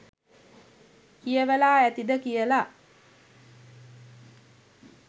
කියවලා ඇතිද කියලා